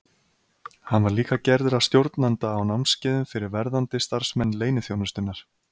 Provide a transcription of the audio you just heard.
Hann var líka gerður að stjórnanda á námskeiðum fyrir verðandi starfsmenn leyniþjónustunnar.